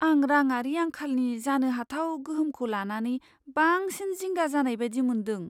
आं रांङारि आंखालनि जानो हाथाव गोहोमखौ लानानै बांसिन जिंगा जानाय बायदि मोनदों।